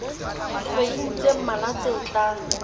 dikgweding tse mmalwa tse tlang